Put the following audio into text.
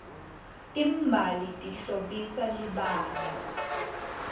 timbali tihlobisa libala